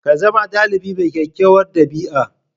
Ka zama ɗalibi mai kyakkyawar ɗabi'a